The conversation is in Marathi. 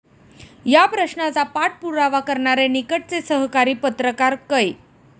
या प्रश्नाचा पाठ पुरावा करणारे निकटचे सहकारी पत्रकार कै.